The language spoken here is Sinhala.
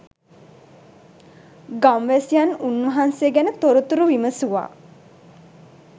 ගම්වැසියන් උන්වහන්සේ ගැන තොරතුරු විමසුවා.